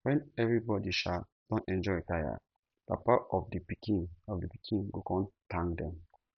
wen evribody um don enjoy tire papa of di pikin of di pikin go kon tank dem